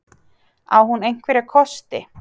Á hún einhverja kosti?